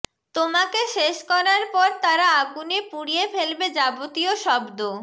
তোমাকে শেষ করার পর তারা আগুনে পুড়িয়ে ফেলবে যাবতীয় শব্দ